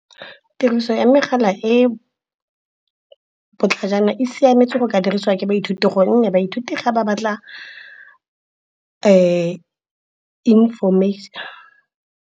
Tiriso ya megala e botlhajana e siametse go ka dirisiwa ke baithuti, gonne baithuti ga ba batla information.